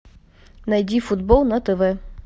найди футбол на тв